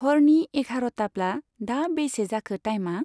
हरनि एघार'ताब्ला दा बेसे जाखो टाइमआ?